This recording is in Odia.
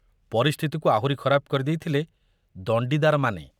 ପରିସ୍ଥିତିକୁ ଆହୁରି ଖରାପ କରି ଦେଇଥିଲେ ଦଣ୍ଡିଦାରମାନେ।